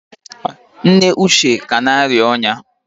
nne uche ka na-arịa ọnya